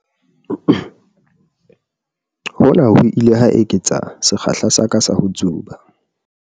Hona ho ile ha eketsa sekgahla sa ka sa ho tsuba.